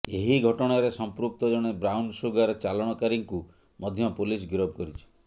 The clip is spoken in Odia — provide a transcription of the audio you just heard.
ଏହି ଘଟଣାରେ ସମ୍ପୃକ୍ତ ଜଣେ ବ୍ରାଉନସୁଗାର ଚାଲାଣକାରୀଙ୍କୁ ମଧ୍ୟ ପୋଲିସ ଗିରଫ କରିଛି